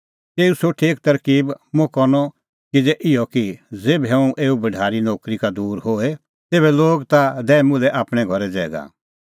तेऊ सोठी एक तरकीब मुंह करनअ किज़ै इहअ कि ज़ेभै हुंह एऊ भढारीए नोकरी का दूर होए तेभै लोग ता दैए मुल्है आपणैं घरै ज़ैगा